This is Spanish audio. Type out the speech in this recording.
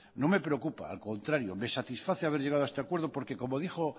no me preocupa al contrario me satisface haber llegado a este acuerdo porque como dijo